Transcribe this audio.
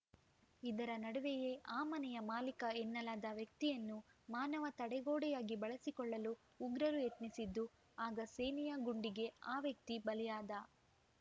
ಇದರ ನಡುವೆಯೇ ಆ ಮನೆಯ ಮಾಲೀಕ ಎನ್ನಲಾದ ವ್ಯಕ್ತಿಯನ್ನು ಮಾನವ ತಡೆಗೋಡೆಯಾಗಿ ಬಳಸಿಕೊಳ್ಳಲು ಉಗ್ರರು ಯತ್ನಿಸಿದ್ದು ಆಗ ಸೇನೆಯ ಗುಂಡಿಗೆ ಆ ವ್ಯಕ್ತಿ ಬಲಿಯಾದ